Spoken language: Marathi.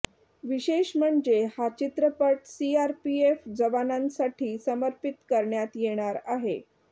विशेष म्हणजे हा चित्रपट सीआरपीएफ जवानांसाठी समर्पित करण्यात येणार आहे